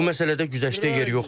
Bu məsələdə güzəştə yer yoxdur.